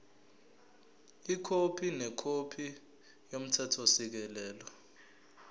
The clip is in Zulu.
ikhophi nekhophi yomthethosisekelo